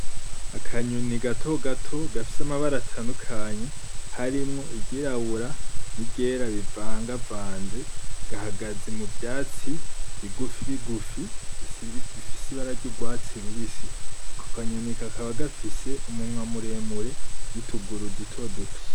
Akanyoni gatogato gafise amabara atandukanye harimwo iryirabura, n'iryera bivangavanze gahagaze muvyatsi bigufi bigufi bifise ibara ry'urwatsi rubisi. Ako kanyoni kakaba gafise umunwa muremure nutuguru dutoduto.